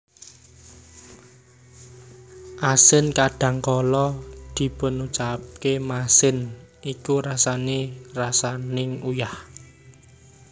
Asin kadhangkala dipocapaké masin iku rasa kaya rasaning uyah